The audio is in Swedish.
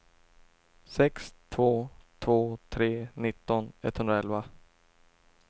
sex två två tre nitton etthundraelva